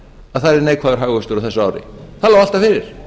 að það yrði neikvæður hagvöxtur á þessu ári það er